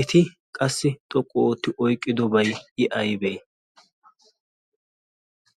Eti qassi xoqqu ootti oyiqqidobay I ayibee?